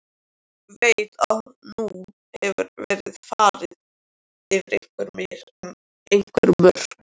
Veit að nú hefur verið farið yfir einhver mörk.